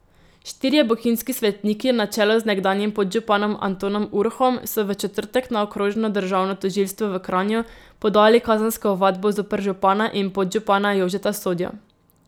Štirje bohinjski svetniki na čelu z nekdanjim podžupanom Antonom Urhom so v četrtek na okrožno državno tožilstvo v Kranju podali kazensko ovadbo zoper župana in podžupana Jožeta Sodjo.